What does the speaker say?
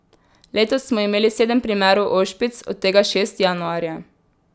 Letos smo imeli sedem primerov ošpic, od tega šest januarja.